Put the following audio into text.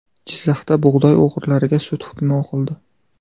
Jizzaxda bug‘doy o‘g‘rilariga sud hukmi o‘qildi.